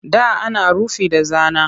Da ana rufi da zana